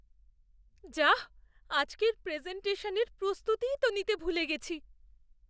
যাহ্! আজকের প্রেজেন্টেশানের প্রস্তুতিই তো নিতে ভুলে গেছি!